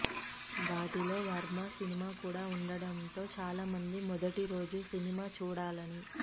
వాటిలో వర్మ సినిమా కూడా ఉండడం తో చాలామంది మొదటి రోజు సినిమా చూడాలని